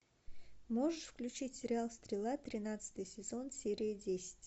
можешь включить сериал стрела тринадцатый сезон серия десять